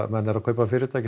menn eru að kaupa fyrirtæki